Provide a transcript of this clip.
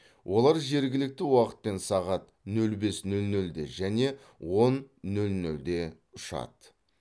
олар жергілікті уақытпен сағат нөл бес нөл нөлде және он нөл нөлде ұшады